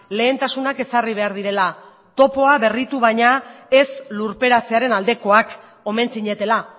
lehentasunak ezarri behar direla topoa berritu baina ez lurperatzearen aldekoak omen zinetela